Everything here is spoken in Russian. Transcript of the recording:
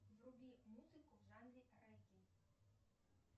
вруби музыку в жанре регги